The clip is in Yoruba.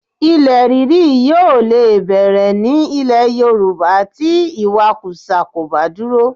Ilẹ̀ ríri yóò lè bẹ̀rẹ̀ ní ilẹ̀ Yorùbá tí ìwakùsà kò bá dúró